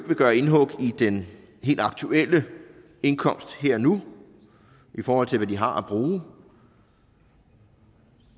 vil gøre indhug i den helt aktuelle indkomst her og nu i forhold til hvad de har at bruge